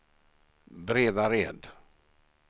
Bredared